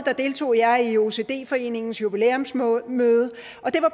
deltog jeg i ocd foreningens jubilæumsmøde